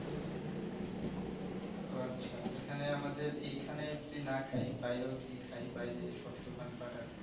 ওহ আচ্ছা এখানে আমাদের এইখানে যদি না খাই বাইরেও যদি না খাই বাইরে যেসব দোকান পাট আছে